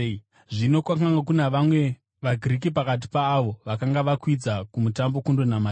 Zvino kwakanga kuna vamwe vaGiriki pakati paavo vakanga vakwidza kuMutambo kundonamata.